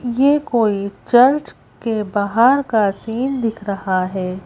यह कोई चर्च के बाहर का सीन दिख रहा है।